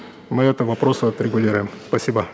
мы эти вопросы отрегулируем спасибо